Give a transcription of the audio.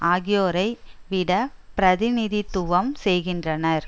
ஆகியோரை விட பிரதிநிதித்துவம் செய்கின்றனர்